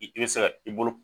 I bɛ se ka i bolo.